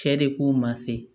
Cɛ de k'u ma se